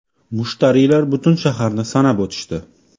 Mushtariylar butun shaharni sanab o‘tishdi.